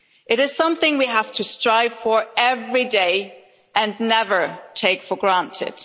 It is something we have to strive for every day and never take for granted.